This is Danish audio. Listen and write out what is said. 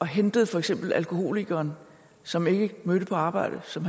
hentede for eksempel alkoholikeren som ikke mødte på arbejde som